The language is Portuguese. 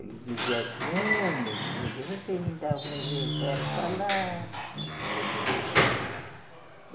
Ele dizia assim, é meu filho, vocês ainda vão ver ferro falar